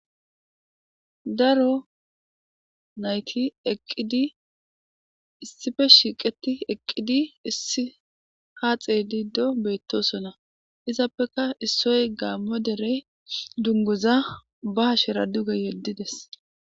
Daro nayitnayitinayiti eqidi isipe shiqeti eqidi issi ha xelido betosona isitape issoy gammo dunguza ba hashera duge yedidesi.